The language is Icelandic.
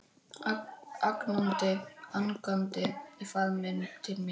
Angandi í faðminn til mín.